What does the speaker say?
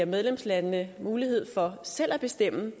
medlemslandene mulighed for selv at bestemme